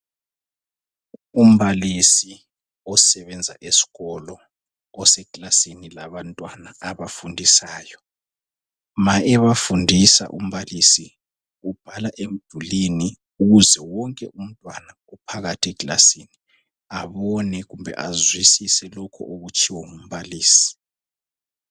Umbalisi osebanza eskolo, oseklasini labantwana abafundisayo. Ma ebafundisa umbalisi ubhala emdulwini ukuze wonke umntwana ophakathi eklasini abone kumbe azwisise lokho okutshiwo ngumblisi.